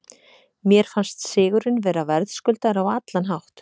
Mér fannst sigurinn vera verðskuldaður á allan hátt.